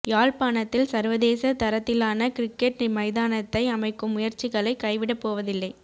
யாழ்ப்பாணத்தில் சர்வதேச தரத்திலான கிரிக்கட் மைதானத்தை அமைக்கும் முயற்சிகளை கைவிடப் போவதில்லை